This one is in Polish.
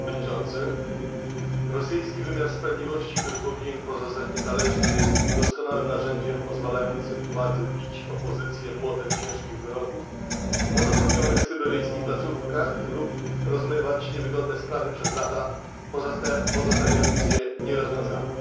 Panie Przewodniczący! Rosyjski wymiar sprawiedliwości, który powinien pozostać niezależny, jest doskonałym narzędziem pozwalającym władzy bić opozycję młotem ciężkich wyroków w odosobnionych syberyjskich placówkach lub rozmywać niewygodne sprawy, przez lata pozostawiając je nierozwiązane.